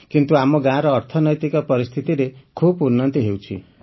କିନ୍ତୁ ଆମ ଗାଁର ଅର୍ଥନୈତିକ ପରିସ୍ଥିତିରେ ଖୁବ ଉନ୍ନତି ହେଉଛି